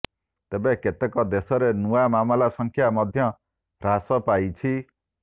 ତେବେ କେତେକ ଦେଶରେ ନୂଆ ମାମଲା ସଂଖ୍ୟା ମଧ୍ୟ ହ୍ରାସ ପାଇଛି